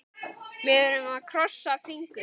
Við erum að krossa fingur.